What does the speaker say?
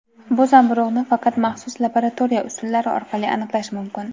bu zamburug‘ni faqat maxsus laboratoriya usullari orqali aniqlash mumkin.